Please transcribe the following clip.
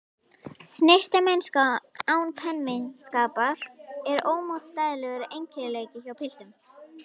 Snyrtimennska án pempíuskapar er ómótstæðilegur eiginleiki hjá piltum.